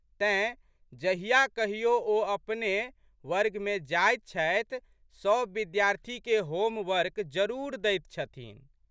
तेँ, जहिया कहियो ओ अपने वर्गमे जाइत छथि, सब विद्यार्थीके होम वर्क जरूर दैत छथिन।